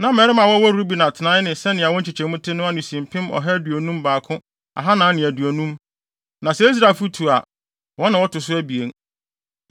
Na mmarima a wɔwɔ Ruben atenae ne sɛnea wɔn nkyekyɛmu te no ano si mpem ɔha aduonum baako ahannan ne aduonum (151,450). Na sɛ Israelfo tu a, wɔn na wɔto so abien.